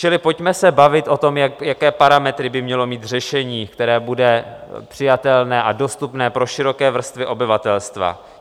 Čili pojďme se bavit o tom, jaké parametry by mělo mít řešení, které bude přijatelné a dostupné pro široké vrstvy obyvatelstva.